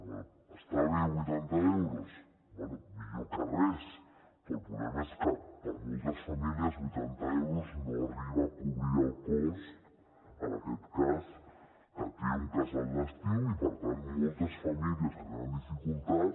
bé està bé vuitanta euros bé millor que res però el problema és que per moltes famílies vuitanta euros no arriba a cobrir el cost en aquest cas que té un casal d’estiu i per tant moltes famílies que tenen dificultats